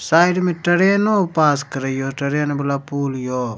Side मे ट्रेनों पास करे ये ट्रैन वाला पूल ये।